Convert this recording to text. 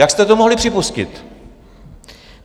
Jak jste to mohli připustit?